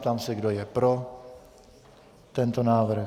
Ptám se, kdo je pro tento návrh.